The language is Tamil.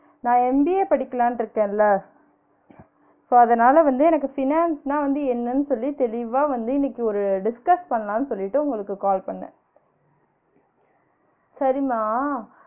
நான் MBA படிக்கலான்னு இருக்கன்ல so அதனால வந்து எனக்கு finance ன்னா வந்து என்னனு சொல்லி தெளிவா வந்து இன்னைக்கு ஒரு discuss பண்லாம்னு சொல்லிட்டு உங்களுக்கு கால் பண்ணேன் சரிம்மா